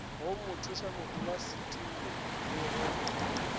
go mothušamodulasetulo le ge e